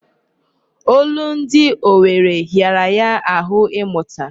Olundi owere hịara ya ahụ ịmụta.